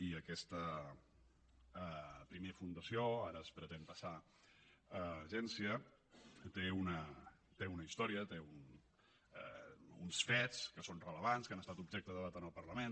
i aquesta primer fundació ara es pretén passar a agència té una història té uns fets que són rellevants que han estat objecte de debat en el parlament